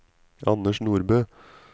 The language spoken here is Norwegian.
Anders Nordbø